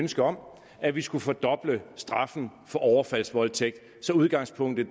ønske om at vi skulle fordoble straffen for overfaldsvoldtægt så udgangspunktet